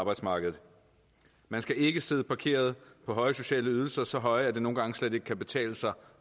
arbejdsmarkedet man skal ikke sidde parkeret på høje sociale ydelser så høje at det nogle gange slet ikke kan betale sig